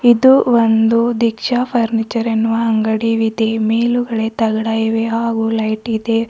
ಇದು ಒಂದು ದೀಕ್ಷಾ ಫರ್ನಿಚರ್ ಎನ್ನುವ ಅಂಗಡಿವಿದೆ ಮೇಲುಗಡೆ ತಗಡ ಇವೆ ಹಾಗೂ ಲೈಟ್ ಇದೆ.